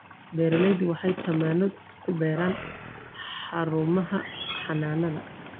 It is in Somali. Beeralaydu waxay tamaandho ku beeraan xarumaha xanaanada.